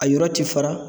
A yɔrɔ ti fara